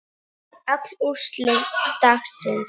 Öll úrslit dagsins